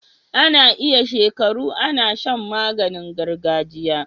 Ana iya shekaru Ana Shan maganin gargajiya